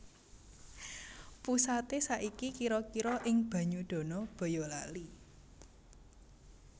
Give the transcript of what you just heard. Pusaté saiki kira kira ing Banyudana Bayalali